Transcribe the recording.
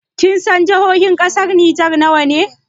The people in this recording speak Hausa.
Kinsan jihohin ƙasar Nijar nawa ne?